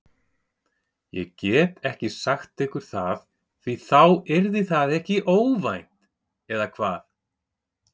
Ég get ekki sagt ykkur það því þá yrði það ekki óvænt eða hvað?